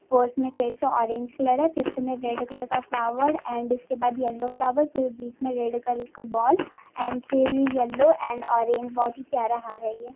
Fourth मे फिर से ऑरेंज कलर है फीफथ मे रेड कलर का फलावेर एण्ड उसके बाद येलो फलावेर फिर बीच में रेड कलर का बोल एण्ड फिर येलो एण्ड ऑरेंज बहुत ही प्यारा हार हैये।